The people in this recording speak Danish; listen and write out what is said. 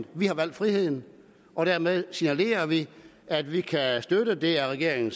at vi har valgt friheden og dermed signalerer vi at vi kan støtte det af regeringen